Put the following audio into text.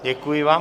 Děkuji vám.